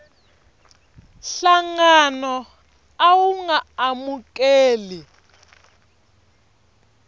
nhlangano a wu nga amukeli